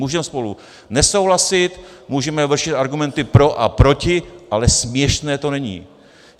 Můžeme spolu nesouhlasit, můžeme vršit argumenty pro a proti, ale směšné to není.